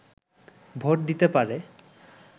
vote দিতে পারে